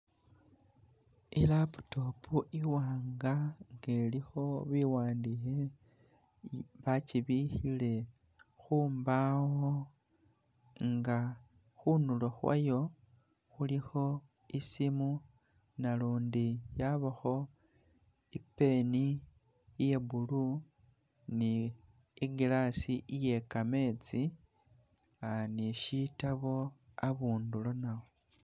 I laptop iwanga nga ilikho bi wandikhe bakyibikhile khu mbaawo nga khundulo khwayo khulikho i simu nalundi yabakho i pen iya blue ni glass iye kametsi ni shitabo abundulo nawo.